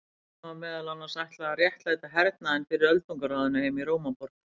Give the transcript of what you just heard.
Ritinu var meðal annars ætlað að réttlæta hernaðinn fyrir Öldungaráðinu heima í Rómaborg.